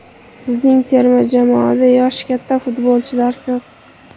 Bizning terma jamoada yoshi katta futbolchilar ko‘p.